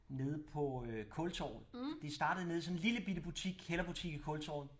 Nede på øh Kultorvet det startede nede i sådan en lille bitte butik kælderbutik i Kultorvet